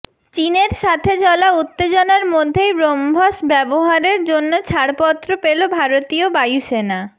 চীনের সাথে চলা উত্তেজনার মধ্যেই ব্রহ্মস ব্যবহারের জন্য ছাড়পত্র পেলো ভারতীয় বায়ুসেনা